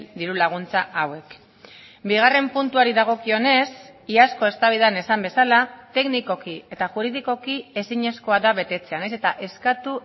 diru laguntza hauek bigarren puntuari dagokionez iazko eztabaidan esan bezala teknikoki eta juridikoki ezinezkoa da betetzea nahiz eta eskatu